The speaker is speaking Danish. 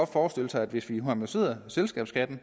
forestille sig at hvis vi harmoniserede selskabsskatten